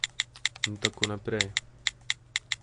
In tako naprej.